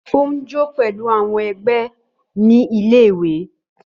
Ó ń jó pẹ̀lú àwọn ẹgbẹ́ ní ilé-ìwé.